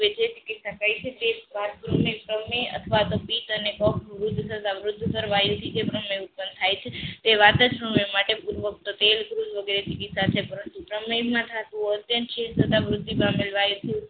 વાદા સમયની પાદર સમયની કે જે સરકારી છે તે પાદરની સામે અથવા તો પેટ અને ઉત્પન્ન થાય છે તે નું અત્યંત મૃત્યુ પામેલ